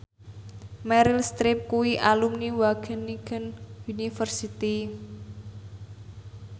Meryl Streep kuwi alumni Wageningen University